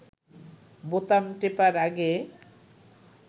বোতাম টেপার আগে